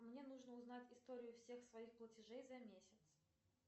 мне нужно узнать историю всех своих платежей за месяц